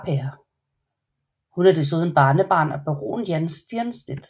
Hun er desuden barnebarn af baron Jan Stiernstedt